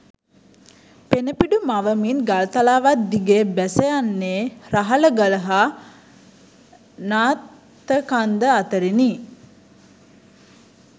පෙණපිඩු මවමින් ගල්තලාවක් දිගේ බැසයන්නේ රහලගල හා නාත්තකන්ද අතරිනි